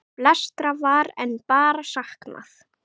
Flestra var enn bara saknað.